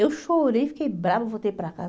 Eu chorei, fiquei brava, voltei para casa.